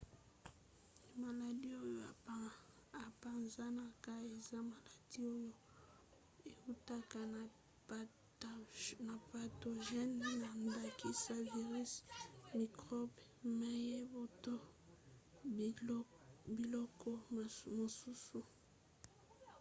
maladi oyo epanzanaka eza maladi oyo eutaka na patogene na ndakisa virisi mikrobe mayebo to biloko mosusu